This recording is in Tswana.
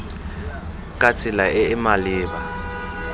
ka tsela e e maleba